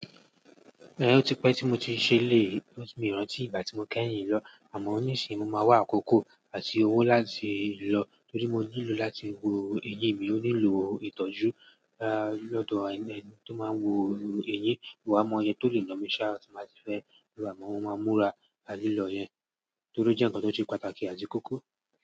Ẹn, ó ti pẹ́ tí mo ti ṣe lè cus mi o rántí ìgbà tí mo kẹ́yìn lọ. Àmọ́ ni sì ń mo ma wá àkókò àti owó láti lọ torí mo nílò láti wo eyín mi. Mo nílò ìtọ́jú lọ́dọ̀ ẹni tó máa ń wo eyín. Mi o wà mọ̀ ọ́ iye tole na mi ṣá ti máa ti fẹ́ lo ama mo ma múra atilọ̀ yẹn torí o jẹ́ ǹkan tó se pàtàkì àti kókó.